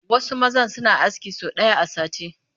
Wasu mazan suna aski sau ɗaya a sati